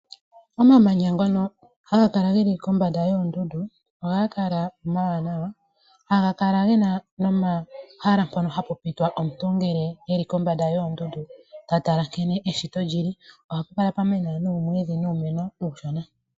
Omamanya ngono haga kala geli kombanda yoondundu ohaga kala omawanawa haga kala gena nomahala mpono hapu pitwa komuntu ngele eli kombanda lyoondundu ta tala nkene eshito lyili ohapu kala pwamena noomwidhi nuumeno uushona.